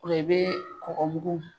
O la i bɛ kɔgɔ mugu